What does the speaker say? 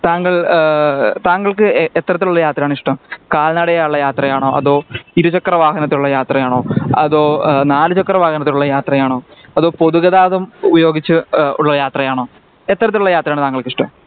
താങ്കൾ ആഹ് താങ്കൾക്ക് എത്തരത്തിലുള്ള യാത്രയാണ് ഇഷ്ട്ടം കാല്നടയായുള്ള യാത്രയാണോ അതോ ഇരുചക്ര വാഹനത്തിൽ ഉള്ള യാത്രയാണോ അതോ നാലുചക്ര വാഹനത്തിൽ ഉള്ള യാത്രയാണോ അതോ പൊതുഗതാഗതം ഉപയോഗിച്ച് അഹ് ഉള്ള യാത്രയാണോ എത്തരത്തിലുള്ള യാത്രയാണ് താങ്കൾക്ക് ഇഷ്ട്ടം